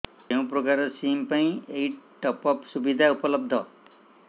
କେଉଁ ପ୍ରକାର ସିମ୍ ପାଇଁ ଏଇ ଟପ୍ଅପ୍ ସୁବିଧା ଉପଲବ୍ଧ